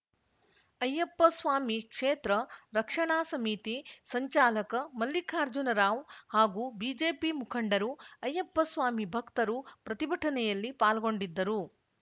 ಅಯ್ಯಪ್ಪಸ್ವಾಮಿ ಕ್ಷೇತ್ರ ರಕ್ಷಣಾ ಸಮಿತಿ ಸಂಚಾಲಕ ಮಲ್ಲಿಕಾರ್ಜುನರಾವ್‌ ಹಾಗೂ ಬಿಜೆಪಿ ಮುಖಂಡರು ಅಯ್ಯಪ್ಪಸ್ವಾಮಿ ಭಕ್ತರು ಪ್ರತಿಭಟನೆಯಲ್ಲಿ ಪಾಲ್ಗೊಂಡಿದ್ದರು